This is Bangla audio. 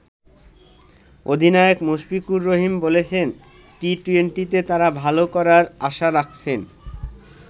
অধিনায়ক মুশফিকুর রহিম বলছেন, টি-২০তে তারা ভালো করার আশা রাখছেন।